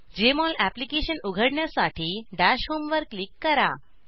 Jmol application उघडण्यासाठी dash home वर click करा